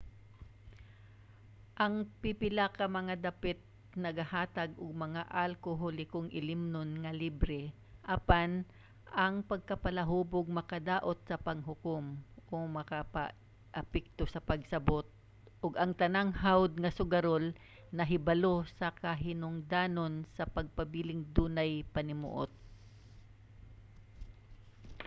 ang pipila ka mga dapit nagahatag og mga alkoholikong ilimnon nga libre. apan ang pagkapalahubog makadaot sa panghukom/makaapekto sa pagsabot ug ang tanang hawod nga sugarol nahibalo sa kahinungdanon sa pagpabiling dunay panimuot